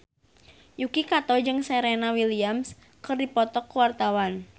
Yuki Kato jeung Serena Williams keur dipoto ku wartawan